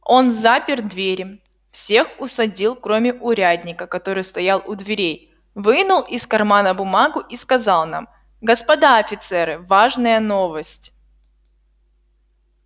он запер двери всех усадил кроме урядника который стоял у дверей вынул из кармана бумагу и сказал нам господа офицеры важная новость